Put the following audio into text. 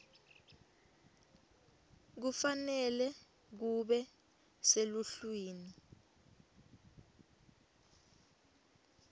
kufanele kube seluhlwini